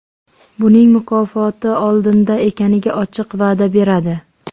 Buning mukofoti oldinda ekaniga ochiq va’da beradi.